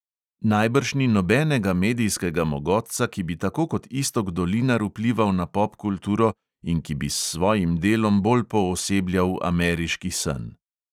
Najbrž ni nobenega medijskega mogotca, ki bi tako kot iztok dolinar vplival na popkulturo in ki bi s svojim delom bolj poosebljal ameriški sen.